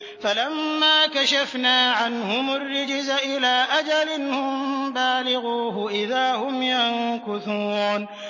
فَلَمَّا كَشَفْنَا عَنْهُمُ الرِّجْزَ إِلَىٰ أَجَلٍ هُم بَالِغُوهُ إِذَا هُمْ يَنكُثُونَ